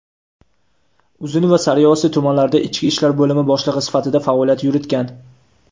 Uzun va Sariosiyo tumanlarida ichki ishlar bo‘limi boshlig‘i sifatida faoliyat yuritgan.